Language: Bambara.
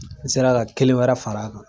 N sera ka kelen wɛrɛ fara a kan.